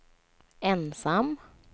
ensam